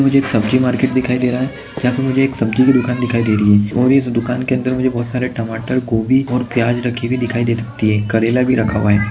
सब्जी मार्केट दिखाई दे रहा है यहाँ पर मुझे एक सब्जी की दुकान दिखाई दे रही है और इस दुकान के अंदर मुझे बहुत सारा टमाटर गोभी और प्याज रखे हुए दिखाई दे सकती है करेला भी रखा हुआ है।